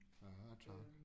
Ja tak